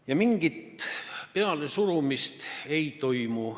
Ja mingit pealesurumist ei toimu.